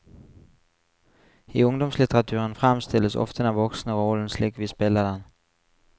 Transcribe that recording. I ungdomslitteraturen fremstilles ofte den voksne rollen slik vi spiller den.